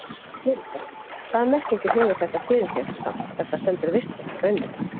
Linda: Hvaða merkingu hefur þetta fyrir þér samt ef það stendur vistvænt grænmeti?